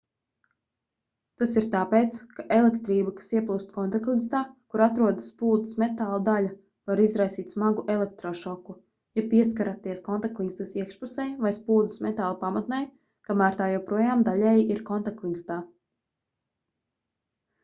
tas ir tāpēc ka elektrība kas ieplūst kontaktligzdā kur atrodas spuldzes metāla daļa var izraisīt smagu elektrošoku ja pieskaraties kontaktligzdas iekšpusei vai spuldzes metāla pamatnei kamēr tā joprojām daļēji ir kontaktligzdā